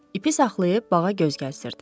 İpi saxlayıb bağa göz gəzdirirdi.